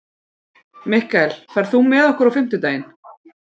Mikkel, ferð þú með okkur á fimmtudaginn?